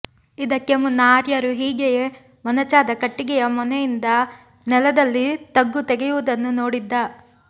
ಇದಕ್ಕೆ ಮುನ್ನ ಆರ್ಯರು ಹೀಗೆಯೇ ಮೊನಚಾದ ಕಟ್ಟಿಗೆಯ ಮೊನೆಯಿಂದ ನೆಲದಲ್ಲಿ ತಗ್ಗು ತೆಗೆಯುವುದನ್ನು ನೋಡಿದ್ದ